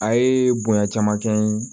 A ye bonya caman kɛ n ye